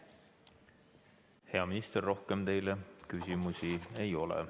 Hea minister, rohkem teile küsimusi ei ole.